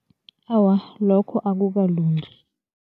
Awa, lokho akukalungi.